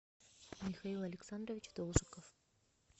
михаил александрович должиков